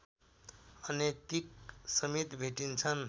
अनैतिकसमेत भेटिन्छन्